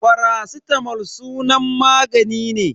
Faracitamol sunan magani ne.